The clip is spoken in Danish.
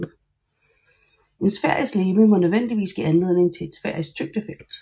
Et sfærisk legeme må nødvendigvis give anledning til et sfærisk tyngdefelt